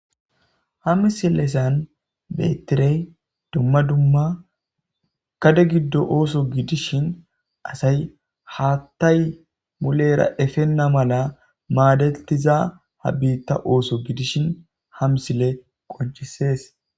Ha misilesan bettirey dumma dumma kade giddo ooso gidishin asay haattay mulera efenna mala maadetiza ha biitta ooso gidishin hamsile qoncisees